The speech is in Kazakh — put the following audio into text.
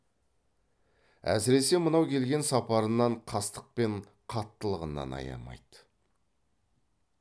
әсіресе мынау келген сапарынан қастық пен қаттылығын аямайды